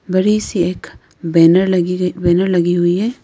बड़ी सी एक बैनर लगी है बैनर लगी हुई है।